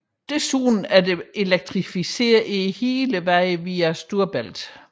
Desuden er der elektrificeret hele vejen via Storebælt